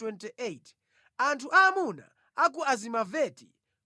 Anthu aamuna a ku Azimaveti 42